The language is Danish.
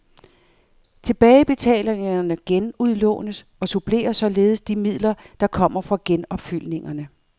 Tilbagebetalingerne genudlånes, og supplerer således de midler, der kommer fra genopfyldningerne.